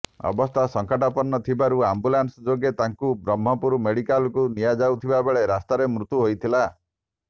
ଅବସ୍ଥା ସଂକଟାପନ୍ନ ଥିବାରୁ ଆମ୍ବୁଲାନ୍ସ ଯୋଗେ ତାଙ୍କୁ ବ୍ରହ୍ମପୁର ବଡ଼ମେଡ଼ିକାଲକୁ ନିଆଯାଉଥିବାବେଳେ ରାସ୍ତାରେ ମୃତ୍ୟୁ ହୋଇଯାଇଥିଲା